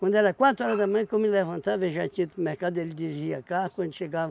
Quando era quatro horas da manhã que eu me levantava, ele já tinha ido para o mercado, ele dirigia carro, quando chegava,